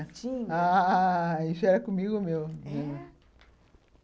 Tinha... ah...Isso era comigo mesmo. É?